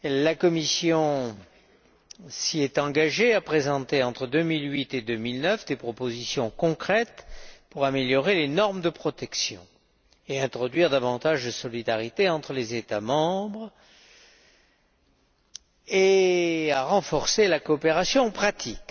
La Commission s'était engagée, d'une part, à présenter entre 2008 et 2009 des propositions concrètes pour améliorer les normes de protection et introduire davantage de solidarité entre les États membres et, d'autre part, à renforcer la coopération pratique.